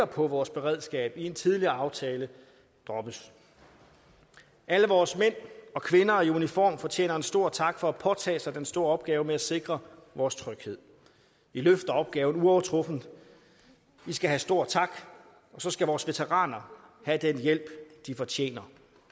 på vores beredskab i en tidligere aftale droppes alle vores mænd og kvinder i uniform fortjener en stor tak for at påtage sig den store opgave med at sikre vores tryghed i løfter opgaven uovertruffent i skal have stor tak og så skal vores veteraner have den hjælp de fortjener